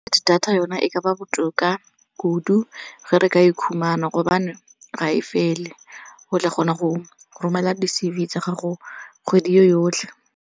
Data yona e ka ba botoka kudu ge re ka e khumana gobane ga e fele. O tla kgona go romela di-C_V tsa gago kgwedi yotlhe.